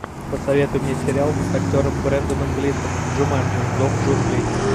посоветуй мне сериал с актером бренданом глисоном джуманджи зов джунглей